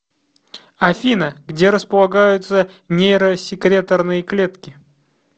афина где располагаются нейросекреторные клетки